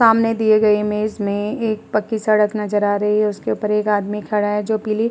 सामने इमेज में दी गई में एक पक्की सड़क नजर आ रही है। उसके ऊपर एक आदमी खड़ा है जो पीली --